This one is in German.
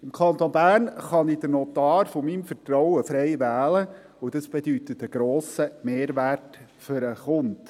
Im Kanton Bern kann ich den Notar meines Vertrauens frei wählen, und dies bedeutet einen grossen Mehrwert für den Kunden.